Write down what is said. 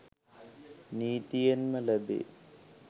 නීතියෙන්ම ලැබේ.